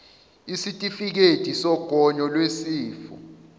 isitifikedi sogonyo lwesifo